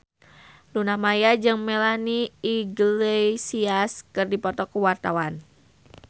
Luna Maya jeung Melanie Iglesias keur dipoto ku wartawan